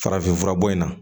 Farafinfura bɔ in na